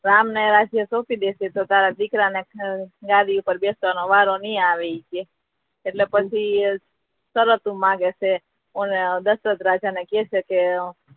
રામ ને રાજ્ય સોપી દેસે તો તારા દિકરા ને ગાદી પર બેસવા નો વારો ની આવે અટલે પછી શરત માગે છે દશરથ રાજા ને કહે છે કે